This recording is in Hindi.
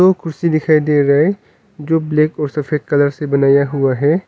ओ कुर्सी दिखाई दे रहा है जो ब्लैक और सफेद कलर से बनाया हुआ है।